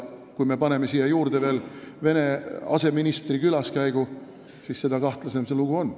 Kui me paneme siia juurde veel Vene aseministri külaskäigu, siis seda kahtlasem see lugu on.